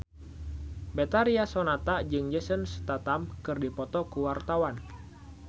Betharia Sonata jeung Jason Statham keur dipoto ku wartawan